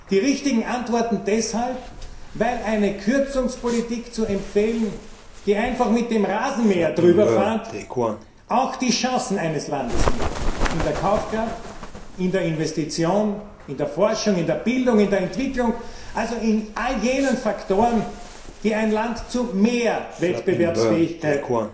Die richtigen Antworten deshalb, weil eine Kürzungspolitik zu empfehlen, die einfach mit dem Rasenmäher drüber fährt, einem Land auch seine Chancen nimmt in der Kaufkraft, in der Investition, in der Forschung, in der Bildung, in der Entwicklung, also in all jenen Faktoren, die ein Land zu mehr Wettbewerbsfähigkeit